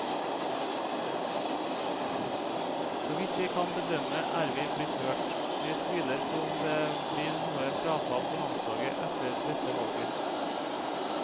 Så vidt jeg kan bedømme er vi blitt hørt, og jeg tviler på om det blir noe frafall på landslaget etter dette valget.